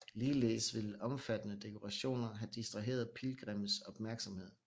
Ligeledes ville omfattende dekorationer have distraheret pilgrimmes opmærksomhed